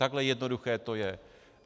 Takhle jednoduché to je.